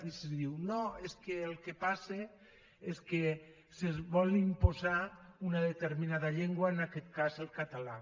i se diu no és que el que passa és que se vol imposar una determinada llengua en aquest cas el català